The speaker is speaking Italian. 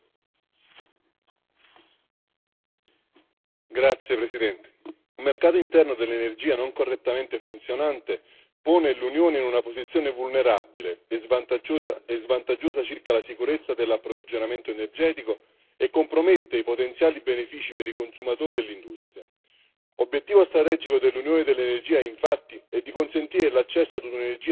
Signora Presidente, onorevoli colleghi, un mercato interno dell'energia non correttamente funzionante pone l'Unione in una posizione vulnerabile e svantaggiosa circa la sicurezza dell'approvvigionamento energetico e compromette i potenziali benefici per i consumatori e l'industria. Obiettivo strategico dell'Unione dell'energia, infatti, è di consentire l'accesso a un'energia sicura, sostenibile e a prezzi concorrenziali.